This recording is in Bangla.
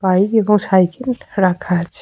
বাইক এবং সাইকেল রাখা আছে ।